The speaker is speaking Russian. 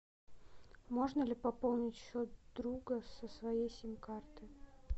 можно ли пополнить счет друга со своей сим карты